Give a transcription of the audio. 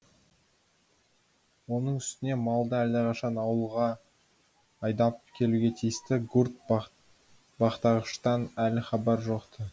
оның үстіне малды әлдеқашан ауылға айдап келуге тиісті гурт бақташыдан әлі хабар жоқ ты